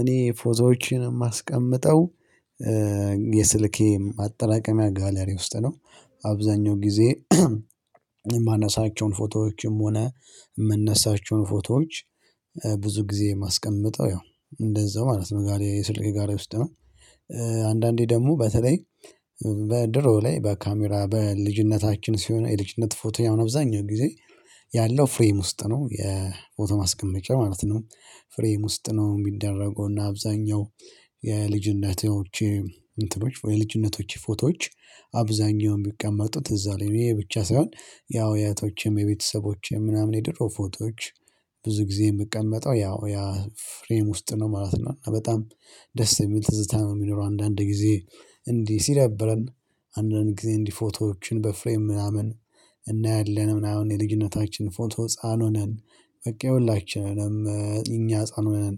እኔ ፎቶዎችን የማስቀምጠው የስልኬ ማጠራቀሚያ ጋላሪ ውስጥ ነው። አብዛኛው ጊዜ የማነሳቸውን ፎቶዎችም ሆነ የምነሳቸውን ፎቶዎች ብዙ ጊዜ የማስቀምጠው ያው እንደዛው ማለት ነው ጋለሪ የስልክ ጋለሪ ውስጥ ነው። አንዳንዴ ደግሞ በተለይ በድሮ ላይ በካሜራ በልጅነታችን ሲሆን የልጅነት ፎቶዬ አሁን አብዛኛው ጊዜ ያለው ፍሬም ውስጥ ነው የፎቶ ማስቀመጫ ማለት ነው። ፍሬም ውስጥ ነው የሚደረገው። እና አብዛኛው የልጅነቶች እንትኖች የልጅነቶች ፎቶዎች አብዛኛው የሚቀመጡት እዛ ላይ ይሄ ብቻ ሳይሆን ያው የእህቶቼም የቤተሰቦቼም ምናምን የድሮ ፎቶዎች ብዙ ጊዜ የምቀመጠው ያው ያ ፍሬም ውስጥ ነው ማለት ነው። እና በጣም ደስ የሚል ትዝታ ነው የሚኖረው። አንዳንድ ጊዜ እንዲህ ሲደብረን። አንዳንድ ጊዜ እንዲህ ፎቶዎችን በፍሬም ምናምን እናያለን ምናምን የልጅነታችን ፎቶ ህፃን ሆነን በቃ የሁላችንም እኛ ህፃን ሆነን።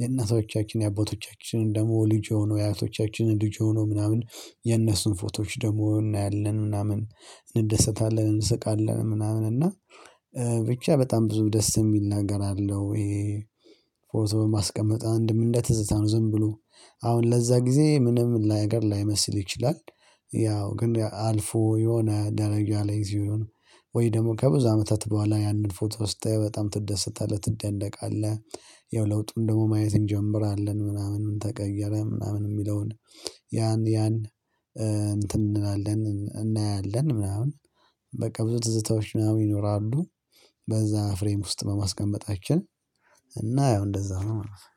የእናቶቻችን የአባቶቻችን ደግሞ ልጅ ሆኖ የአራቶቻችን ልጅ ሆኖ ምናምን የነሱን ፎቶዎች ደግሞ እናያለን ምናምን እንደሰታለን። እንስቃለን ምናምን እና ብቻ በጣም ብዙ ደስ የሚል ነገር አለው። ይሄ ፎቶ በማስቀመጥ አንድም እንደ ትዝታ ነው ዝም ብሎ አሁን ለዛ ጊዜ ምንም ነገር ላይመስል ይችላል። ያው ግን አልፎ የሆነ ደረጃ ላይ ሲሆን ወይ ደግሞ ከብዙ አመታት በኋላ ያንን ፎቶ ስታየው በጣም ትደሰታለህ ትደነቃለህ። ያው ለውጡም ደግሞ ማየት እንጀምራለን ምናምን ምን? ተቀየረ ምናምን የሚለውን ያን ያን እንትን እንላለን እናያለን ምናምን በቃ ብዙ ትዝታዎች ምናምን ይኖራሉ። በዛ ፍሬም ውስጥ በማስቀመጣችን እና ያው እንደዛ ነው ማለት ነው